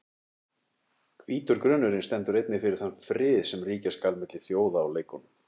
Hvítur grunnurinn stendur einnig fyrir þann frið sem ríkja skal milli þjóða á leikunum.